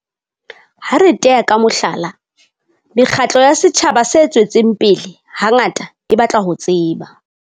Ha re tea ka mohlala, mekgatlo ya setjhaba se tswetseng pele hangata e batla ho tseba